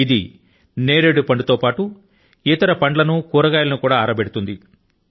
ఇది ఎప్రికాట్ పండు తో పాటు ఇతర పండ్లను కూరగాయల ను కూడా ఆరబెడుతుంది